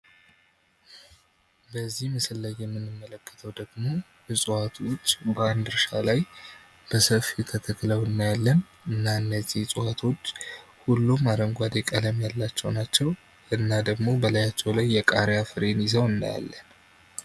በዚህ ምስል ላይ የምንመለከተው ደግሞ ዕጽዋቶች በአንድ እርሻ ላይ በሰፊው ተተክለው እናያለን። እና እነዚህ እጽዋቶች ሁሉም አረንጓዴ ቀለም ያላቸው ናቸዉ። እና ደግሞ በላያቸው ላይ የቃሪያ ፍሬን ይዘው እናያለን።